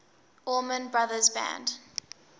allman brothers band